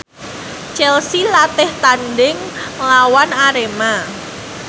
Chelsea latih tandhing nglawan Arema